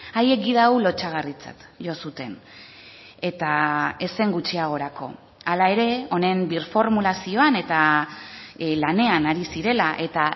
haiek gida hau lotsagarritzat jo zuten eta ez zen gutxiagorako hala ere honen birformulazioan eta lanean ari zirela eta